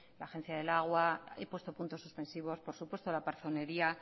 la agencia del agua he puesto puntos suspensivos por supuesto la parzonería